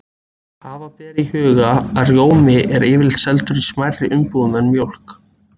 Hafa ber í huga að rjómi er yfirleitt seldur í smærri umbúðum en mjólk.